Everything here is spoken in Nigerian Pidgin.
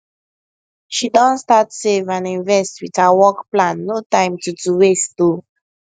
she don start save and invest with her work plan no time to to waste o